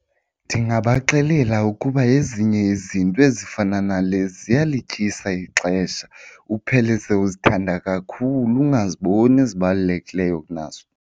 Ndingabaxelela ukuba ezinye izinto ezifana nale ziyalityisa ixesha uphele seuzithanda kakhulu ungaziboni ezibalulekileyo kunazo.